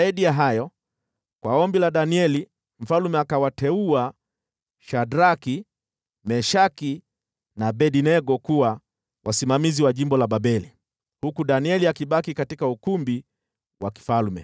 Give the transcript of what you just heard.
Zaidi ya hayo, kwa ombi la Danieli, mfalme akawateua Shadraki, Meshaki na Abednego kuwa wasimamizi wa jimbo la Babeli, huku Danieli akibaki katika ukumbi wa mfalme.